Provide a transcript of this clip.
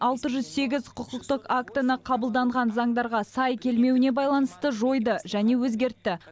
алты жүз сегіз құқықтық актіні қабылданған заңдарға сай келмеуіне байланысты жойды және өзгертті